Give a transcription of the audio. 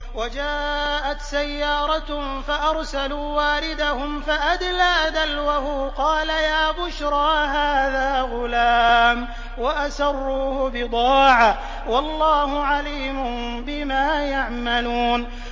وَجَاءَتْ سَيَّارَةٌ فَأَرْسَلُوا وَارِدَهُمْ فَأَدْلَىٰ دَلْوَهُ ۖ قَالَ يَا بُشْرَىٰ هَٰذَا غُلَامٌ ۚ وَأَسَرُّوهُ بِضَاعَةً ۚ وَاللَّهُ عَلِيمٌ بِمَا يَعْمَلُونَ